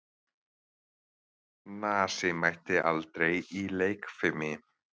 Nasi mætti aldrei í leikfimi.